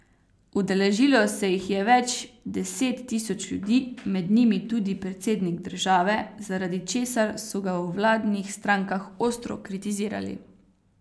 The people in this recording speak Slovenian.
Udeležilo se jih je več deset tisoč ljudi, med njimi tudi predsednik države, zaradi česar so ga v vladnih strankah ostro kritizirali.